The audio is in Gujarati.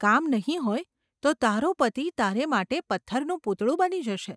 કામ નહિ હોય તો તારો પતિ તારે માટે પથ્થરનું પૂતળું બની જશે.